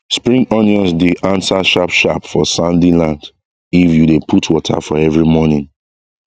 spring onions dey answer sharp sharp for sandy land if you dey put water for every morning